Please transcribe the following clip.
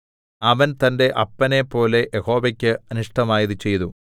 അവൻ തന്റെ അപ്പനേപ്പോലെ യഹോവയ്ക്ക് അനിഷ്ടമായത് ചെയ്തു